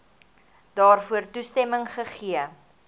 daarvoor toestemming gegee